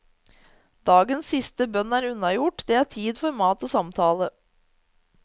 Dagens siste bønn er unnagjort, det er tid for mat og samtale.